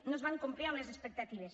no es van complir amb les expectatives